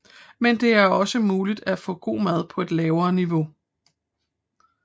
Men det er også muligt at få god mad på et lavere niveau